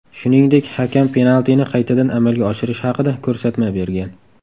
Shuningdek, hakam penaltini qaytadan amalga oshirish haqida ko‘rsatma bergan.